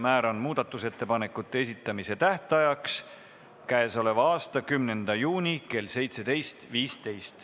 Määran muudatusettepanekute esitamise tähtajaks k.a 10. juuni kell 17.15.